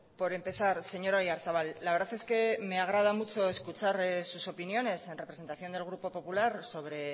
por empezar señor oyarzabal la verdad es que me agrada mucho escuchar sus opiniones en representación del grupo popular sobre